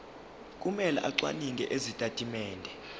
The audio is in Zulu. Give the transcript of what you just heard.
kumele acwaninge izitatimende